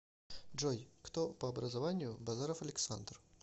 джой кто по образованию базаров александр